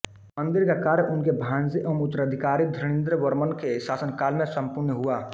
मंदिर का कार्य उनके भानजे एवं उत्तराधिकारी धरणीन्द्रवर्मन के शासनकाल में सम्पूर्ण हुआ